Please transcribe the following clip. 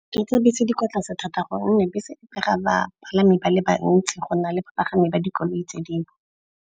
tsa bese tse di kwa tlase thata gonne bese e pega bapalami ba le bantsi go na le bapagami ba dikoloi tse dingwe.